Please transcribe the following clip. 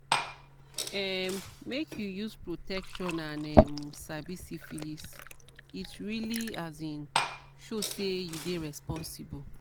um make you use protection and um sabi syphilis it really as in show say you dey responsible